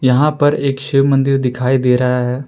यहां पर एक शिव मंदिर दिखाई दे रहा है।